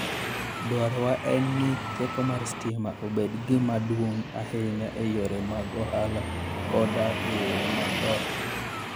Dwarowa en ni teko mar stima obed gima duong' ahinya e yore mag ohala koda e yore mag ot.